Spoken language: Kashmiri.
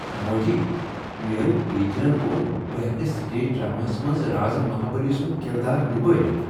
موجی، میٛٲنۍ ٹیچرن ووٚن بہٕ ہیکہ سٹیج ڈرٛاماہس منٛز رازٕ مہابٔلی سنٛد کردار نبٲوتھ۔